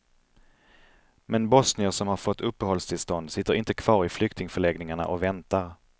Men bosnier som har fått uppehållstillstånd sitter inte kvar i flyktingförläggningarna och väntar.